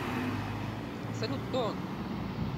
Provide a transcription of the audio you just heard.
салют кто он